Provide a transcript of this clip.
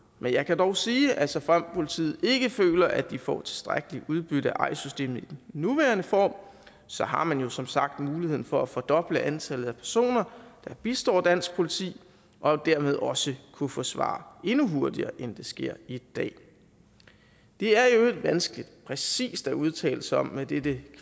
men jeg kan dog sige at såfremt politiet ikke føler at de får tilstrækkeligt udbytte af eis systemet i den nuværende form så har man jo som sagt muligheden for at fordoble antallet af personer der bistår dansk politi og dermed også kunne få svar endnu hurtigere end det sker i dag det er i øvrigt vanskeligt præcist at udtale sig om hvad dette